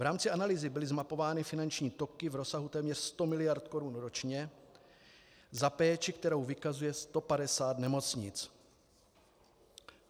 V rámci analýzy byly zmapovány finanční toky v rozsahu téměř 100 miliard Kč ročně za péči, kterou vykazuje 150 nemocnic.